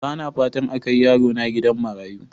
Bana fatan a kai yarona gidan marayu.